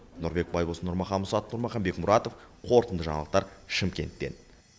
нұрбек байбосын нұрмахан мұсатов нұрмахан бекмұратов қорытынды жаңалықтар шымкенттен